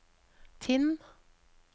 Tinn